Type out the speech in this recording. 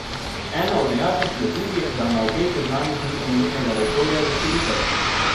Ena od nejasnosti je tudi, da na obeh seznamih ni omenjenega resorja za širitev.